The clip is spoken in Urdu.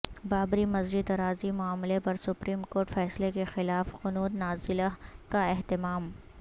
بابری مسجد اراضی معاملہ پر سپریم کورٹ فیصلے کے خلاف قنوت نازلہ کا اہتمام